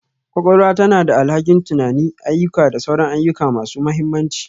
Kwakwalwa tana da alhakin tunani, ayyuka da sauran ayyuka masu mahimmanci